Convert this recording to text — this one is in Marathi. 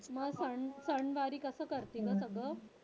मग सणवारी कसं करते गं सगळं?